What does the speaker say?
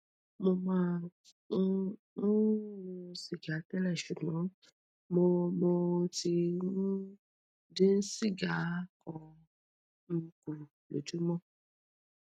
mo máa ń um mu sìgá tẹlẹ ṣùgbọn mo mo ti um dín siga kan um kù lójúmọ